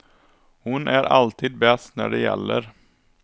Hon är alltid bäst när det gäller.